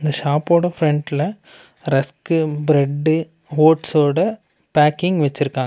ஷாப்போட பிரண்ட்ல rusk bread ஓட்ஸோட பேக்கிங் வெச்சுருக்காங்க.